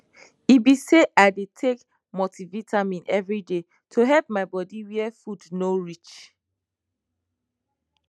e be sayi dey take multivitamin every day to help my bodi where food no reach